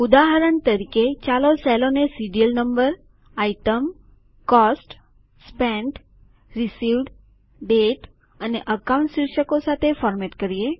ઉદાહરણ તરીકે ચાલો સેલો ને serial number item cost spent received date અને અકાઉન્ટ શીર્ષકો સાથે ફોર્મેટ કરીએ